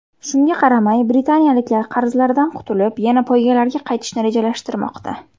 Shunga qaramay britaniyaliklar qarzlaridan qutulib, yana poygalarga qaytishni rejalashtirmoqda.